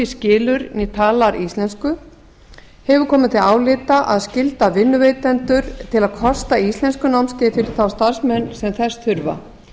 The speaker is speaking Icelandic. skilur né talar íslensku fjórði hefur komið til álita að skylda vinnuveitendur til að kosta íslenskunámskeið fyrir þá starfsmenn sem þess þurfa